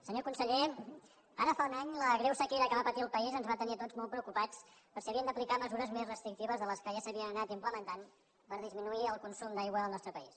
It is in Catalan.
senyor conseller ara fa un any la greu sequera que va patir el país ens va tenir a tots molt preocupats per si havíem d’aplicar mesures més restrictives de les que ja s’havien anat implementant per disminuir el consum d’aigua al nostre país